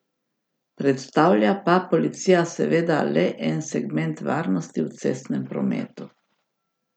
Predstavlja pa policija seveda le en segment varnosti v cestnem prometu.